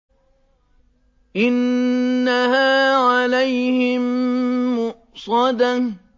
إِنَّهَا عَلَيْهِم مُّؤْصَدَةٌ